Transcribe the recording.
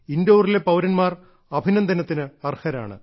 ഇൻഡോറിലെ പൌരന്മാർ അഭിനന്ദനത്തിന് അർഹരാണ്